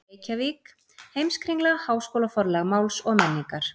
Reykjavík: Heimskringla- Háskólaforlag Máls og menningar.